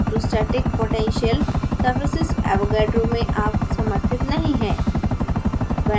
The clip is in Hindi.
electrostatic potential surfacesavogadro में अब तक समर्थित नहीं हैं